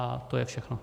A to je všechno.